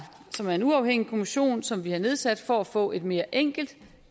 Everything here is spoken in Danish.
som er en uafhængig kommission som vi har nedsat for at få et mere enkelt